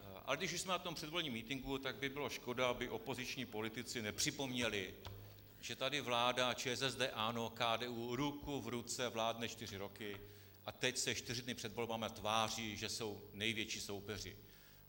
Ale když už jsme na tom předvolebním mítinku, tak by bylo škoda, aby opoziční politici nepřipomněli, že tady vláda ČSSD, ANO, KDU ruku v ruce vládne čtyři roky a teď se čtyři dny před volbami tváří, že jsou největší soupeři.